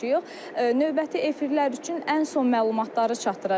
Növbəti efirlər üçün ən son məlumatları çatdıracağıq.